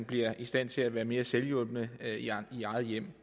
bliver i stand til at være mere selvhjulpne i eget hjem